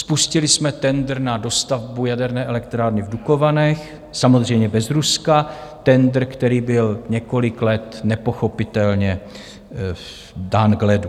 Spustili jsme tendr na dostavbu jaderné elektrárny v Dukovanech, samozřejmě bez Ruska, tendr, který byl několik let nepochopitelně dán k ledu.